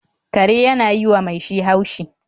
Kare yana yi wa mai shi haushi